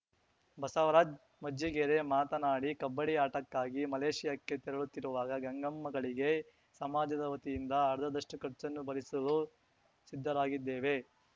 ಬಸವರಾಜ್‌ ಮಜ್ಜಿಗೇರಿ ಮಾತನಾಡಿ ಕಬ್ಬಡ್ಡಿ ಆಟಕ್ಕಾಗಿ ಮಲೇಷಿಯಾಕ್ಕೆ ತೆರಳುತ್ತಿರುವ ಗಂಗಮ್ಮಗಳಿಗೆ ಸಮಾಜದ ವತಿಯಿಂದ ಅರ್ಧದಷ್ಟಖರ್ಚನ್ನು ಭರಿಸಲು ಸಿದ್ದರಾಗಿದ್ದೇವೆ